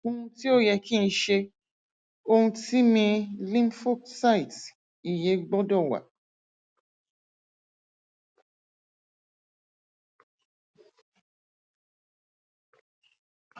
ohun ti o yẹ ki n ṣe ohun ti mi lymphocyte iye gbọdọ wa